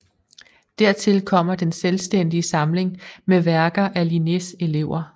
Dertil kommer den selvstændige samling med værker af Linnés elever